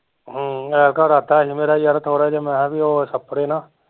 ਹਮ ਐਤਕਾਂ ਇਰਾਦਾ ਐ ਜੇ ਮੇਰਾ ਯਾਰ ਥੋੜਾ ਜਿਹਾ ਮੈ ਕਿਹਾ ਵੀ ਓਹ ਛਪੜੇ ਨਾ